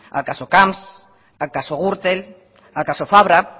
al caso camps al caso gürtel al caso fabra